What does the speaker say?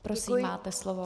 Prosím, máte slovo.